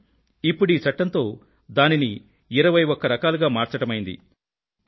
కానీ ఇప్పుడీ చట్టంతో దానిని 21 రకాలుగా మార్చడమైంది